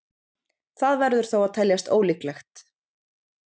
Það verður þó að teljast ólíklegt.